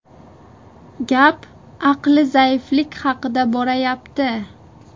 Gap aqli zaiflik haqida borayapti.